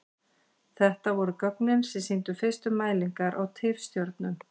Þetta voru gögnin sem sýndu fyrstu mælingar á tifstjörnum.